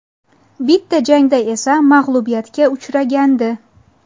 Bitta jangda esa mag‘lubiyatga uchragandi.